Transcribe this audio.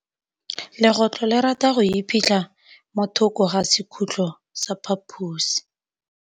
Legôtlô le rata go iphitlha mo thokô ga sekhutlo sa phaposi.